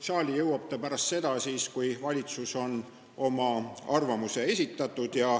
Saali jõuab see eelnõu pärast seda, kui valitsus on oma arvamuse esitanud.